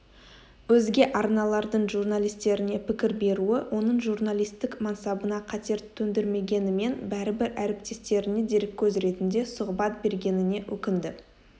өзге арналардың журналистеріне пікір беруі оның журналистік мансабына қатер төндірмегенімен бәрібір әріптестеріне дереккөз ретінде сұхбат бергеніне өкінді